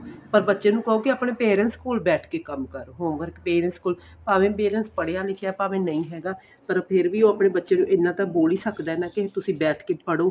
ਪਰ ਬੱਚੇ ਨੂੰ ਕਹੋ ਕੇ ਆਪਣੇ parents ਕੋਲ ਬੈ ਕੇ ਕੰਮ ਕਰੋ home work parents ਕੋਲ ਭਾਵੇ parents ਪੜ੍ਹੀਆਂ ਲਿਖਿਆ ਭਾਵੇ ਨਹੀਂ ਹੈਗਾ ਪਰ ਫੇਰ ਉਹ ਆਪਣੇ ਬੱਚੇ ਨੂੰ ਇੰਨਾ ਕ ਬੋਲ ਈ ਸਕਦਾ ਨਾ ਕਿ ਤੁਸੀਂ ਬੈਠ ਕੇ ਪੜ੍ਹੋ